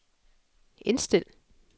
indstil